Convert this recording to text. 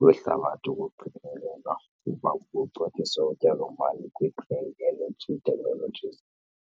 lwehlabathi kuqikelelwa ukuba kucothise utyalomali kwi-green energy technologies.